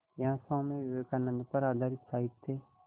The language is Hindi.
यहाँ स्वामी विवेकानंद पर आधारित साहित्य